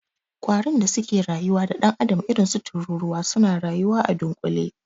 Ƙwarun da suke rayuwa da dan'adam irinsu tururuwa, suna rayuwa a dunkule.